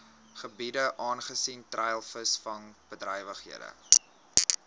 gebiede aangesien treilvisvangbedrywighede